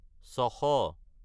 ছশ